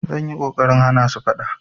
Zan yi ƙoƙarin hana su faɗa.